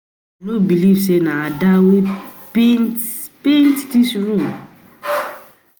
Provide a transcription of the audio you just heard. I know believe say na Ada wey paint paint dis room